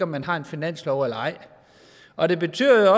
man har en finanslov eller ej og det betyder